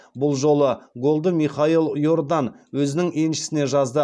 бұл жолы голды михал йордан өзінің еншісіне жазды